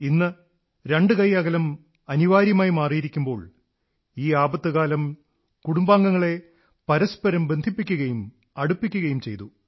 ഇന്ന് രണ്ടുകൈ അകലം അനിവാര്യമായ ആവശ്യമായി മാറിയിരിക്കുമ്പോൾ ഈ ആപത്തുകാലം കുടുംബാംഗങ്ങളെ പരസ്പരം ബന്ധിപ്പിക്കുകയും അടുപ്പിക്കുകയും ചെയ്തു